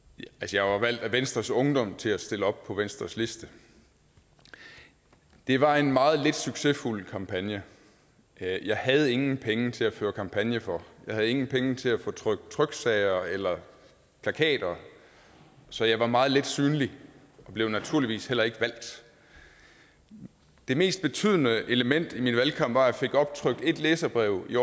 jeg var valgt af venstres ungdom til at stille op på venstres liste det var en meget lidt succesfuld kampagne jeg jeg havde ingen penge til at føre kampagne for jeg havde ingen penge til at få trykt tryksager eller plakater så jeg var meget lidt synlig og blev naturligvis heller ikke valgt det mest betydende element i min valgkamp var at jeg fik optrykt ét læserbrev i